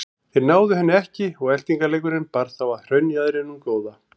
Þeir náðu henni ekki og eltingaleikurinn bar þá að hraunjaðrinum góða.